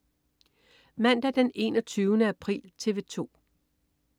Mandag den 21. april - TV 2: